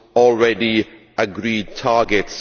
already agreed targets.